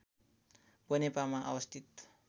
बनेपामा अवस्थित